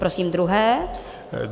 Prosím druhé.